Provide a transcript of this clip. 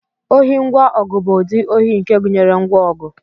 ohi ngwa ọgụ bụ ụdị ohi nke gụnyere ngwa ọgụ